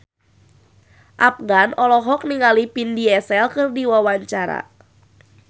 Afgan olohok ningali Vin Diesel keur diwawancara